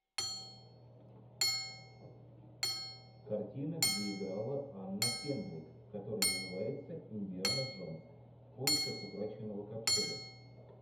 картина где играла анна кендрик которая называется индиана джонс в поисках утраченного ковчега